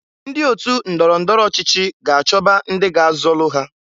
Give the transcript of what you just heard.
Ndị ọtụ ndọrọ ndọrọ ọchịchị ga-achọba ndị ga-azọlụ ha.